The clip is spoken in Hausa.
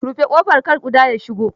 Rufe ƙofar kar ƙuda ya shigo.